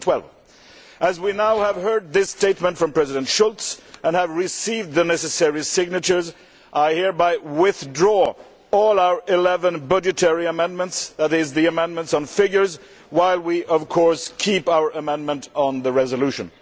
2012. As we now have heard this statement from President Schulz and have received the necessary signatures, I hereby withdraw all our eleven budgetary amendments that is, the amendments on figures while we of course keep our amendment on the resolution.